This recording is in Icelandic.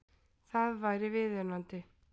Það væri viðunandi